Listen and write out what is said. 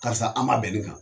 Karisa an ma bɛn ni kan